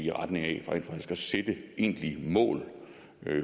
i retning af rent faktisk at sætte egentlige mål